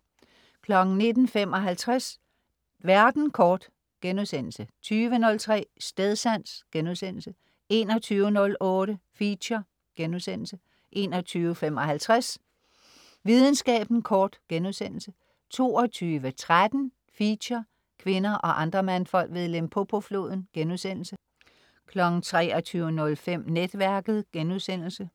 19.55 Verden kort* 20.03 Stedsans* 21.08 Feature* 21.55 Videnskaben kort* 22.13 Feature: Kvinder og andre mandfolk ved Limpopo-floden* 23.05 Netværket*